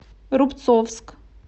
рубцовск